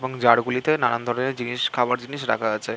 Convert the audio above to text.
এবং জার -গুলিতে নানান ধরণের জিনিস খাবার জিনিস রাখা আছে।